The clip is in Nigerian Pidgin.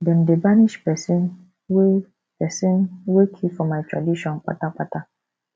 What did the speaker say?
dem dey banish pesin wey pesin wey kill for my tradition kpata kpata